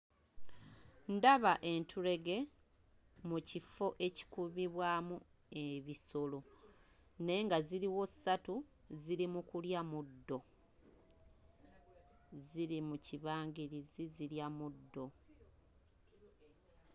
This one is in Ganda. Ndaba entulege mu kifo ekikubibwamu ebisolo naye nga ziriwo ssatu ziri mu kulya muddo ziri mu kibangirizi zirya muddo.